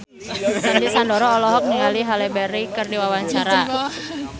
Sandy Sandoro olohok ningali Halle Berry keur diwawancara